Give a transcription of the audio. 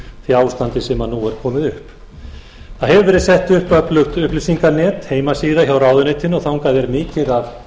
því ástandi sem nú er komið upp það hefur verið sett upp öflugt upplýsinganet heimasíða hjá ráðuneytinu og þangað er mikið af